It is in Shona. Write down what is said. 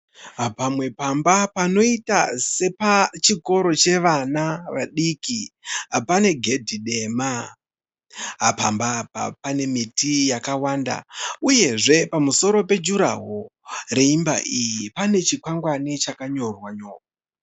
Pamwe pamba panoita sepachikoro chevana vadiki. Pane gedhi dema. Pamba apa pane miti yakawanda uyezve pamusoro pe(durawall) yeimba iyi pane chikwangwani chakanyorwa nyorwa.